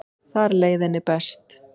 Þar leið henni best.